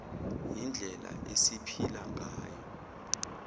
yindlela esiphila ngayo